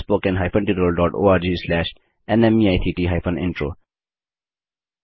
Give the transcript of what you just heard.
spoken hyphen tutorial dot O R G slash NMEICT hyphen intro